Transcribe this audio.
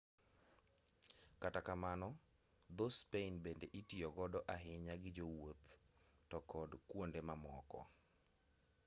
kata kamano dho-spain bende itiyo godo ahinya gi jowuoth to kod kuonde mamoko